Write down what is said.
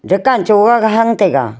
rekan choga ga hang taiga.